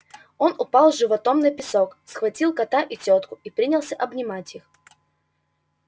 он упал животом на песок схватил кота и тётку и принялся обнимать их